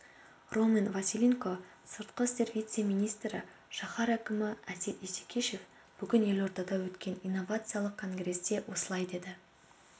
роман василенко сыртқы істер вице-министрі шаһар әкімі әсет исекешев бүгін елордада өткен инновациялық конгресте осылай деді